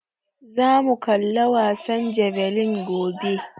Za mu kalla wasan jabelin gobe